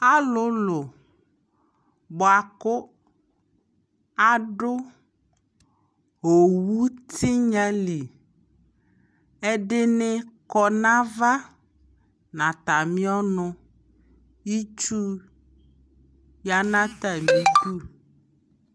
alʋlʋ bʋakʋ adʋ ɔwʋ tinya li, ɛdini kɔnɔ aɣa nʋ atami ɔnʋ, itsʋ yanʋ atami idʋ